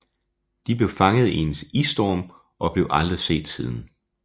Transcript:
De blev fanget i en isstorm og blev aldrig set siden